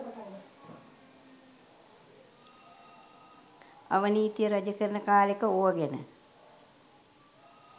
අවනීතිය රජකරන කාලෙක ඕව ගැන